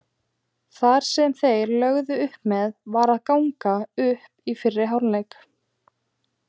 Það sem þeir lögðu upp með var að ganga upp í fyrri hálfleik.